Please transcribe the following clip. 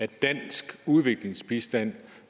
den danske udviklingsbistand